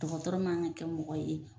Dɔgɔtɔrɔ man ka kɛ mɔgɔ ye